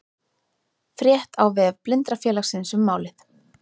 Frétt á vef Blindrafélagsins um málið